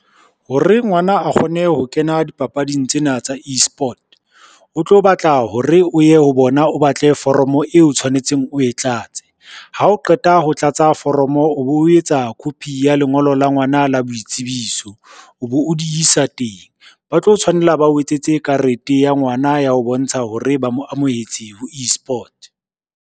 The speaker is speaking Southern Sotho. Hore ngwana a kgone ho kena dipapading tsena tsa e-sport, o tlo batla hore o ye ho bona o batle foromo eo tshwanetseng o e tlatse, ha o qeta ho tlatsa foromo, o bo etsa copy ya lengolo la ngwana la boitsebiso o bo o di isa teng. Ba tlo tshwanela ba o etsetse karete ya ngwana ya ho bontsha hore ba mo amohetse ho e-sport.